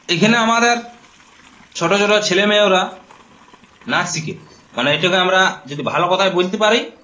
এখানে আমাদের ছোটো ছোটো ছেলেমেয়েওরা নাচ শিখে। মানে এটো-কে আমরা যদি ভালো কথায় বলতে পারি --